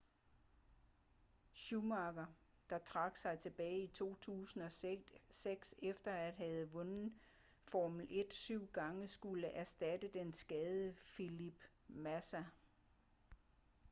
schumacher der trak sig tilbage i 2006 efter at have vundet formel 1 syv gange skulle erstatte den skadede felipe massa